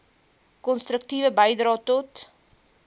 konstruktiewe bydrae tot